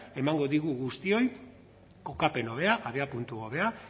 emango digu guztioi kokapen hobea abiapuntu hobea